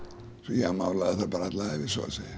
ég málaði þar alla ævi svo að segja